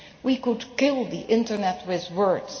We could kill the Internet with words.